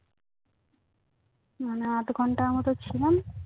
মানে আধঘন্টার মতো ছিলাম